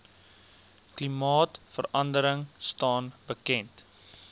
klimaatverandering staan bekend